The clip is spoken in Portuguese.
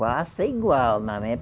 Faça igual, não é?